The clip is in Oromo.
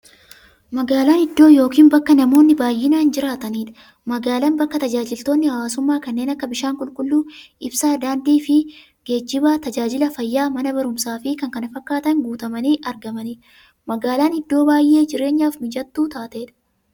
Magaalan iddoo yookiin bakka namoonni baay'inaan jiraataniidha. Magaalan bakka taajajilootni hawwaasummaa kanneen akka; bishaan qulqulluu, ibsaa, daandiifi geejjiba, taajajila fayyaa, Mana baruumsaafi kanneen kana fakkatan guutamanii argamaniidha. Magaalan iddoo baay'ee jireenyaf mijattuu taateedha.